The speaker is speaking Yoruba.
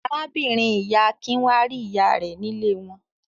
Arábìnrin-ìyá Akin wá rí ìyá rẹ̀ nílé wọn.